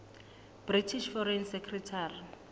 british foreign secretary